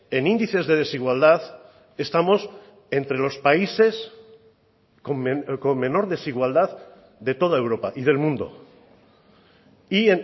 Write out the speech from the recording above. en índices de desigualdad estamos entre los países con menor desigualdad de toda europa y del mundo y